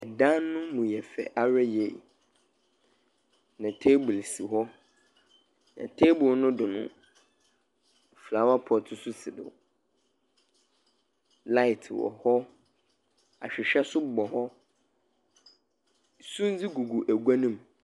Dan no mu yɛ fɛ ara yiye, na table si hɔ. Na table no do no, Flowre pot nso si do. Light wɔ hɔ. Ahwehwɛ nso bɔ hɔ. Sumze gugu agua no mu.